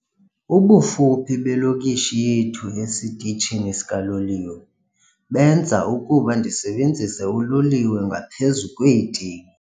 Ubufuphi belokishi yethu esitishini sikaloliwe benza ukuba ndisebenzise uloliwe ngaphezu kweete.